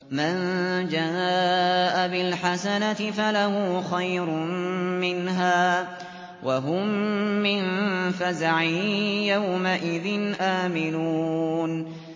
مَن جَاءَ بِالْحَسَنَةِ فَلَهُ خَيْرٌ مِّنْهَا وَهُم مِّن فَزَعٍ يَوْمَئِذٍ آمِنُونَ